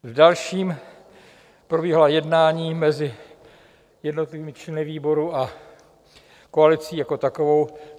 V dalším probíhala jednání mezi jednotlivými členy výboru a koalicí jako takovou.